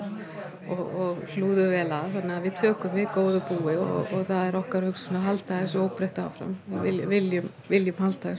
og hlúðu vel að þannig að við tökum við góðu búi og það er okkar hugsun að halda þessu óbreyttu áfram við viljum viljum halda þessu